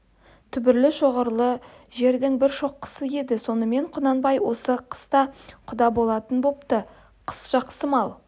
түбірлі шоғырлы жердің бір шоқысы еді сонымен құнанбай осы қыста құда болатын бопты қыс жақсы мал